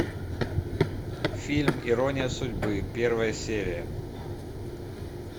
фильм ирония судьбы первая серия